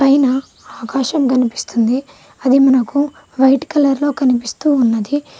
పైన ఆకాశం కనిపిస్తుంది అది మనకు వైట్ కలర్ లో కనిపిస్తూ ఉన్నది.